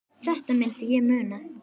Þetta myndi ég muna!